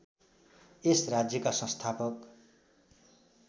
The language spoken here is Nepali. यस राज्यका संस्थापक